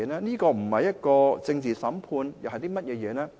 這不是政治審判，又是甚麼？